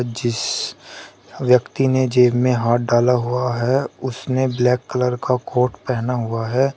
जिस व्यक्ति ने जेब में हाथ डाला हुआ है उसने ब्लैक कलर का कोट पेहना हुआ है।